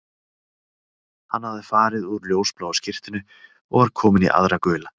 Hann hafði farið úr ljósbláu skyrtunni og var kominn í aðra gula